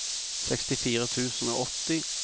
sekstifire tusen og åtti